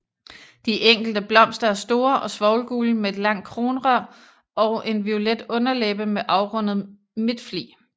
De enkelte blomster er store og svovlgule med et langt kronrør og en violet underlæbe med afrundet midtflig